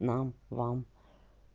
нам вам